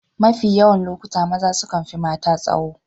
Mafi yawan lokuta maza sukan fi mata tsaho